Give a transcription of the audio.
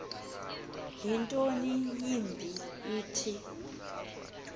nto yimbi ithi